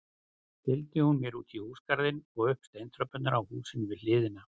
Fylgdi hún mér útí húsagarðinn og upp steintröppurnar á húsinu við hliðina.